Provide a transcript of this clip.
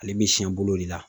Ale bi siɲɛ bolo de la.